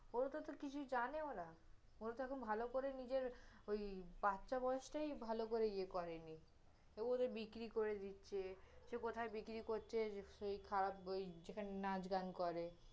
ওরা তহ, তহ কিছু জানেই না, ওরা তহ ভালো করে নিজের, ওই বাচ্চা বয়সটাই ভালো করে ইয়ে করেনি, ওদের বিক্রি করে দিচ্ছে, যে কোথায় বিক্রি করছে, যে কোথায় বিক্রি, যে ওই খারাপ ওই যেখানে নাঁচ-গান করে